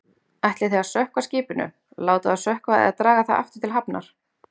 Ætlið þið að sökkva skipinu, láta það sökkva eða draga það aftur til hafnar?